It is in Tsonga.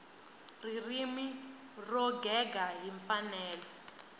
ririmi ro gega hi mfanelo